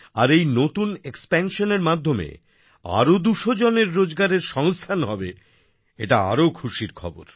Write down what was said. আর এই নতুন এক্সপ্যানশন এর মাধ্যমে আরো ২০০ জনের রোজগারের সংস্থান হবেএটা আরো খুশির খবর